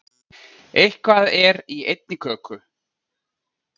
Eitthvað er í einni köku